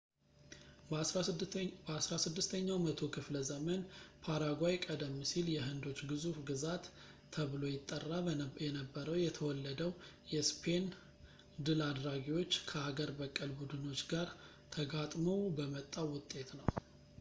በ 16 ኛው መቶ ክፍለ ዘመን ፓራጓይ ቀደም ሲል የሕንዶች ግዙፍ ግዛት ተብሎ ይጠራ የነበረው የተወለደው የእስፔን ድል አድራጊዎች ከአገር-በቀል ቡድኖች ጋርተጋጥመው በመጣው ውጤት ነው